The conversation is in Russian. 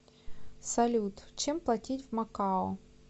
салют чем платить в макао